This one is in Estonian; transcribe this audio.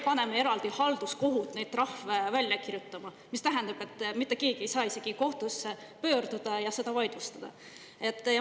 Paneme halduskohtu veel eraldi neid trahve välja kirjutama, mis tähendab, et mitte keegi ei saa isegi kohtusse pöörduda ja seda vaidlustada.